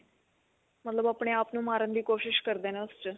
ਮਤਲਬ ਉਹ ਆਪਣੇ ਆਪ ਨੂੰ ਮਾਰਨ ਦੀ ਕੋਸ਼ਿਸ਼ ਕਰਦੇ ਨੇ ਉਸ ਚ